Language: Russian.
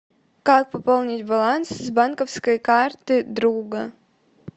как пополнить баланс с банковской карты друга